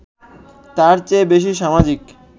তার চেয়ে বেশি সামাজিক